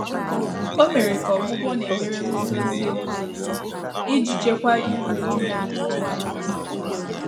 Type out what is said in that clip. Ọ́ mèrè kà ọ́gwụ́gwọ́ nà ékpèré gùzózìé égùzózí ìjí chị́kwáá írú újú yá mgbè ọ́nwụ́ áhụ́ gàsị́rị̀.